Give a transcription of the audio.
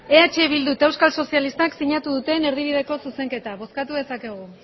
eh bildu eta euskal sozialistak sinatu duten erdibideko zuzenketa bozkatu dezakegu